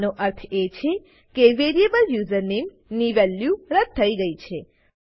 આનો અર્થ એ છે કે વેરીએબલ યુઝરનેમ ની વેલ્યુ રદ થઇ ગયી છે